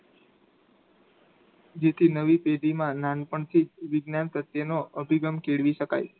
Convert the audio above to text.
જેથી નવી પેઢીમાં નાનપણથી જ વિજ્ઞાન પ્રત્યેનો અભિગમ કેળવી શકાય.